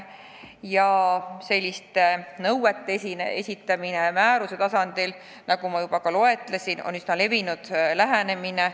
Nagu ma juba ütlesin, selliste nõuete esitamine määruse tasandil on üsna levinud lähenemine.